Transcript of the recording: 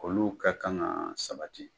Olu ka kan ka sabati